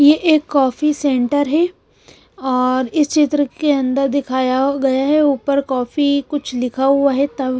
ये एक coffee centre है और इस चित्र के अंदर दिखाया गया है ऊपर कॉफी कुछ लिखा हुआ है तब--